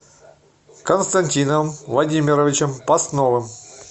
константином владимировичем постновым